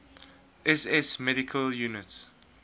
ss medical units